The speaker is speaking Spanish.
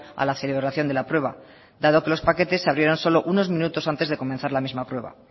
a la celebración de la prueba dado que los paquetes se abrieron solo unos minutos antes de comenzar la misma prueba